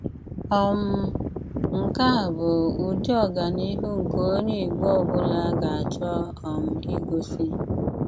um Nkè á bụ́ ụ̀dí ọ́gáníhù nké ónyè Ìgbò ọ̀bùlá gà-àchọ́ um ígósí.